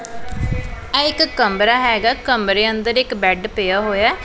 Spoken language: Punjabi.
ਆਹ ਇੱਕ ਕਮਰਾ ਹਿਗਾ ਕਮਰੇ ਅੰਦਰ ਇੱਕ ਬੈਡ ਪਿਆ ਹੋਇਆ।